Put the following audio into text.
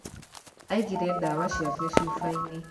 Aigire ndawa ciake cuba-inĩ